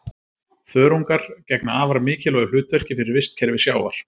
Þörungar gegna afar mikilvægu hlutverki fyrir vistkerfi sjávar.